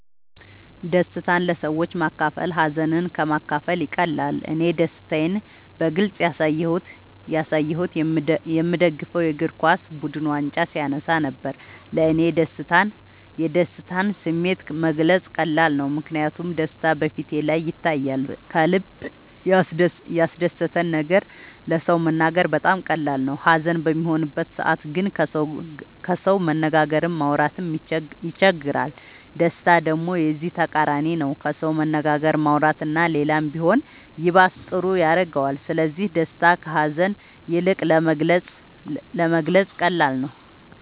ደስታን ለሰዎች ማካፈል ሀዘንን ከ ማካፈል ይቀላል እኔ ደስታን በግልፅ ያሳየሁት የ ምደግፈው የ እግርኳስ ቡድን ዋንጫ ሲያነሳ ነበር። ለ እኔ የደስታን ስሜት መግለፅ ቀላል ነው ምክንያቱም ደስታ በ ፊቴ ላይ ይታያል ከልበ ያስደሰተን ነገር ለ ሰው መናገር በጣም ቀላል ነው ሀዘን በሚሆንበት ሰዓት ግን ከሰው መነጋገርም ማውራት ይቸግራል ደስታ ደሞ የዚ ተቃራኒ ነው ከሰው መነጋገር ማውራት እና ሌላም ቢሆን ይባስ ጥሩ ያረገዋል ስለዚ ደስታ ከ ሀዛን ይልቅ ለመግለፃ ቀላል ነው።